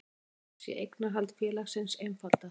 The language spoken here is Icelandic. Jafnframt sé eignarhald félagsins einfaldað